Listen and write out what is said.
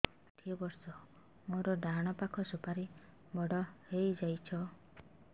ମୋର ଷାଠିଏ ବର୍ଷ ମୋର ଡାହାଣ ପାଖ ସୁପାରୀ ବଡ ହୈ ଯାଇଛ